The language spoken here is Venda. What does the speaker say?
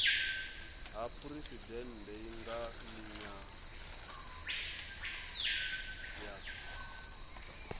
ha phuresidennde nga nila ya